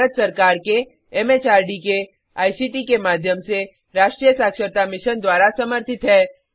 यह भारत सरकार के एमएचआरडी के आई सी टी के माध्यम से राष्ट्रीय साक्षरता मिशन द्वारा समर्थित है